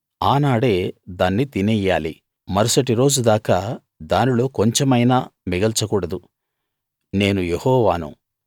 ఆనాడే దాని తినెయ్యాలి మరుసటి రోజు దాకా దానిలో కొంచెమైనా మిగల్చకూడదు నేను యెహోవాను